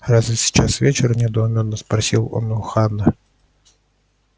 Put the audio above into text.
разве сейчас вечер недоуменно спросил он у хана